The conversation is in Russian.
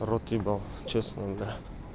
рот ебал честно бля